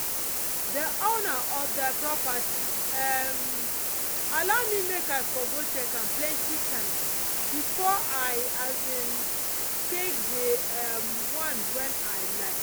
dey owner of dey property um allow me make i for go check am plenti times befor i um take dey um one wen i like